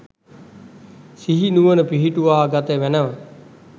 සිහි නුවණ පිහිටුවා ගත මැනැව.